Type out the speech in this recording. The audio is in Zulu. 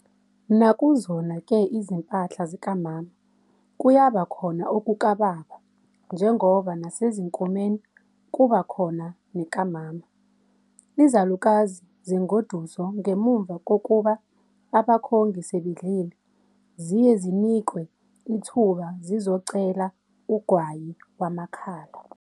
Nakuzona-ke izimpahla zikamama kuyaba khona okukaBaba njengoba nasezinkomeni kuba khona nekamama. Izalukazi zengoduso ngemuva kokuba abakhongi sebedlile ziye zinikwe ithuba zizocela ugwayi wamakhala.